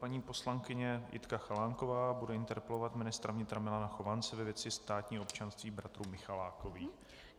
Paní poslankyně Jitka Chalánková bude interpelovat ministra vnitra Milana Chovance ve věci státního občanství bratrů Michalákových.